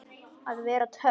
Að vera töff.